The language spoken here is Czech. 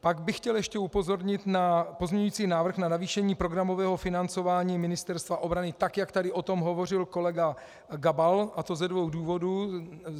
Pak bych chtěl ještě upozornit na pozměňující návrh na navýšení programového financování Ministerstva obrany, tak jak tady o tom hovořil kolega Gabal, a to ze dvou důvodu.